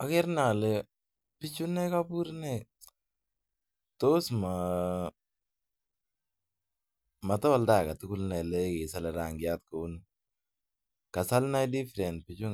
agereinai ole bichu ntai kobur tosmotende agetugul nai ole kisole rangiat kouni kasal inai different bichu